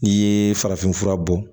N'i ye farafinfura bɔ